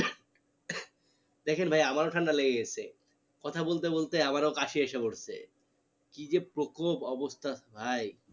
দেখেন ভাই আমারও ঠান্ডা লেগে গেছে কথা বলতে বলতে আমারও কাশি এসে পেরেছে কি যে প্রকোব অবস্থা ভাই